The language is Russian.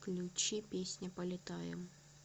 включи песня полетаем